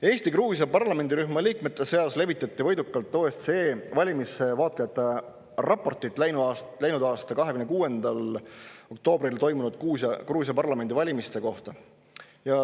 Eesti-Gruusia parlamendirühma liikmete seas levitati võidukalt OSCE valimisvaatlejate raportit läinud aasta 26. oktoobril toimunud Gruusia parlamendivalimiste kohta.